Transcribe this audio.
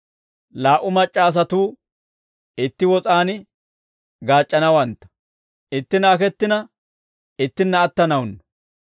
Laa"u mac'c'a asatuu itti wos'aan gaac'c'anawantta; ittinna akettina, ittinna attanawunnu.